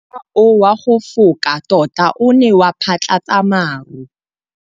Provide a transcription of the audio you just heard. Mowa o wa go foka tota o ne wa phatlalatsa maru.